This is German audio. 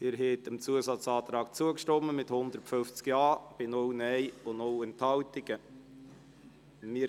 Sie haben dem Abänderungsantrag mit 150 Ja- zu 0 Nein-Stimmen bei 0 Enthaltungen zugestimmt.